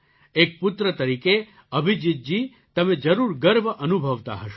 એક પુત્ર તરીકે અભિજીત જી તમે જરૂર ગર્વ અનુભવતા હશો